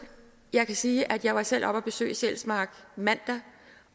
jeg kan sige at jeg selv var oppe og besøge sjælsmark mandag